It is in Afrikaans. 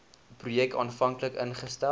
projek aanvanklik ingestel